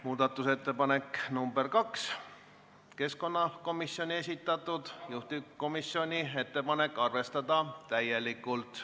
Muudatusettepanek nr 2 on keskkonnakomisjoni esitatud, juhtivkomisjoni ettepanek on arvestada täielikult.